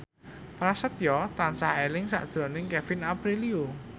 Prasetyo tansah eling sakjroning Kevin Aprilio